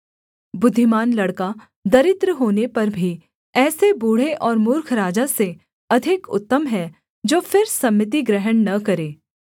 बुद्धिमान लड़का दरिद्र होने पर भी ऐसे बूढ़े और मूर्ख राजा से अधिक उत्तम है जो फिर सम्मति ग्रहण न करे